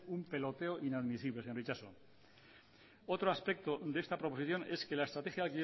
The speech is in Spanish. un peloteo inadmisible señor itxaso otro aspecto de esta proposición es que la estrategia